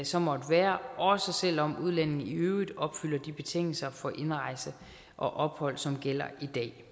så måtte være også selv om udlændingen i øvrigt opfylder de betingelser for indrejse og ophold som gælder i dag